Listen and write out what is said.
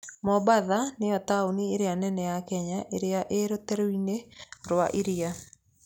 Mombatha nĩo taũni ĩrĩa nene ya Kenya ĩrĩ rũteere-inĩ rwa iria.